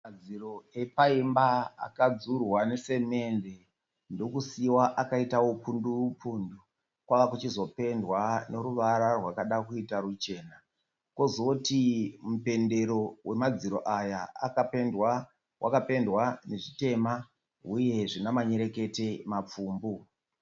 Madziro epa imba akadhurwa nesemende ndokusiiwa akaita upundu upundu. Kwava kuchizopendwa neruvara rwakada kuita ruchena. Kozoti mupendero wemadhiro aya waka pendwa nezvitema uye zvine manyerekete mapfumbu.